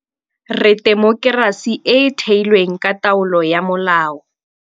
Re temokerasi e e theilweng ka taolo ya molao.